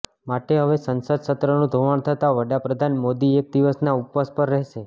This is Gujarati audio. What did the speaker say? માટે હવે સંસદ સત્રનું ધોવાણ થતા વડાપ્રધાન મોદી એક દિવસના ઉપવાસ પર રહેશે